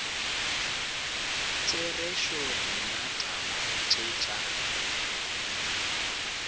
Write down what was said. therešo nna taba tše tša